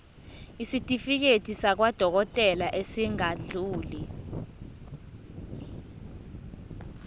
isitifiketi sakwadokodela esingadluli